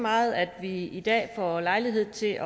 meget at vi i dag får lejlighed til